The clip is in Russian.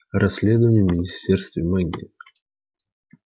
расследование в министерстве магии